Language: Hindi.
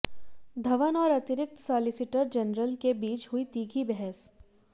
धवन और अतिरिक्त सॉलीसीटर जनरल के बीच हुई तीखी बहस